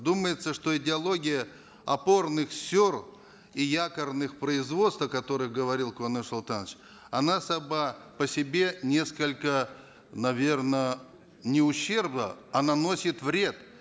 думается что идеология опорных сел и якорных производств о которых говорил куаныш султанович она сама по себе несколько наверно не ущербна а наносит вред